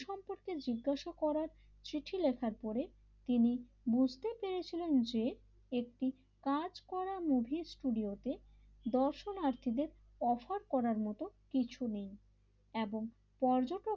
জিজ্ঞাসা করা চিঠি লেখার পরে তিনি বুঝতে পেরেছিলেন যে একটি কাজ করা মুভি স্টুডিওতে দর্শনার্থীদের অফার করার মতো কিছু নেই এবং পর্যটন,